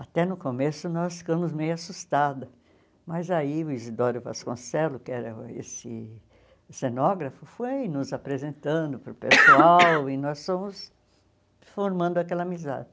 Até no começo, nós ficamos meio assustadas, mas aí o Isidoro Vasconcelos, que era esse cenógrafo, foi nos apresentando para o pessoal e nós fomos formando aquela amizade.